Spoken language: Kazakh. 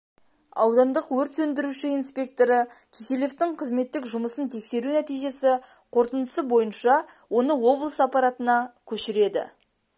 аудандық өрт сөндіруші инспекторы киселевтың қызметтік жұмысын тексеру нәтижесі қорытындысы бойынша оны облыс аппаратына көшіреді